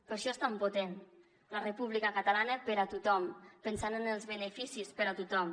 per això és tan potent la república catalana per a tothom pensant en els beneficis per a tothom